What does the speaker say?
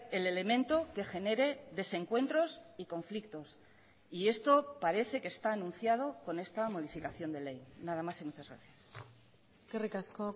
el elemento que genere desencuentros y conflictos y esto parece que está anunciado con esta modificación de ley nada más y muchas gracias eskerrik asko